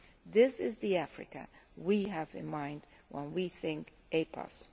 This is the Africa we have in mind when we think EPAs.